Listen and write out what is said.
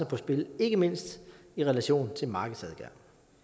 på spil ikke mindst i relation til markedsadgang